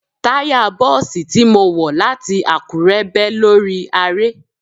Táya Bọ́ọ̀sì tí mo wọ̀ láti Àkúrẹ́ bẹ́ lórí aré.